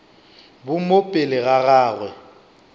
bo mo pele ga gagwe